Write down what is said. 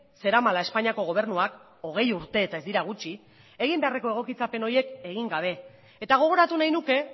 zeramala espainiako gobernuak hogei urte eta ez dira gutxi egin beharreko egokitzapen horiek egin gabe eta gogoratu nahi nuke